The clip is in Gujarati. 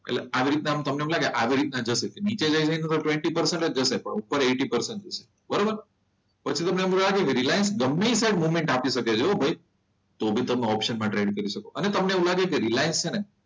એટલે આવી રીતના તમને એમ લાગે આવી રીતના નીચે ટ્વેન્ટી પર્સન્ટ જશે ઉપર એઈટી પર્સન્ટ ઉપર જશે બરોબર પછી તમને એવું લાગે કે રિલાયન્સ જમણી સાઈડ મુવમેન્ટ આપી શકે છે તો બી તમે ઓપ્શન માં ટ્રેડ કરી શકો. અને તમને એવું લાગે કે રિલાયન્સ છે ને,